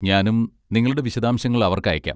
ഞാനും നിങ്ങളുടെ വിശദാംശങ്ങൾ അവർക്ക് അയയ്ക്കാം.